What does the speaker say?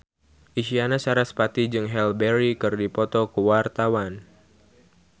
Isyana Sarasvati jeung Halle Berry keur dipoto ku wartawan